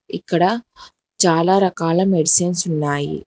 ఇక్కడ చాలా రకాల మెడిసిన్స్ ఉన్నాయి.